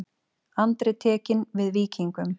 Andri tekinn við Víkingum